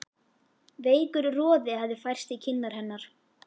Veikur roði hafði færst í kinnar hennar.